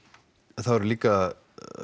það eru líka